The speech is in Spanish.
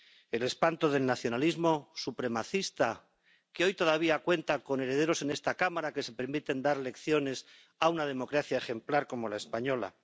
El espanto del nacionalismo supremacista, que hoy todavía cuenta con herederos en esta Cámara que se permiten dar lecciones a una democracia ejemplar como la española.